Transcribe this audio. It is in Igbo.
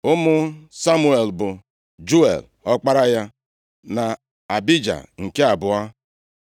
Ụmụ Samuel bụ Juel, ọkpara ya, na Abija nke abụọ.